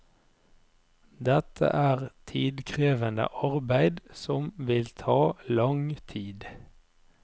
Dette er tidkrevende arbeid som vil ta lang tid.